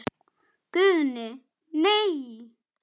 Guðni:. nei.